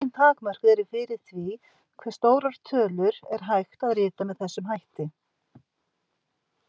Engin takmörk eru fyrir því hve stórar tölur er hægt að rita með þessum hætti.